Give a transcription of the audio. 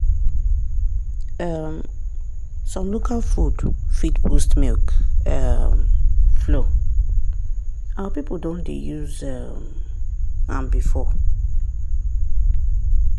um some local food fit boost milk um flow our people don dey use um am before.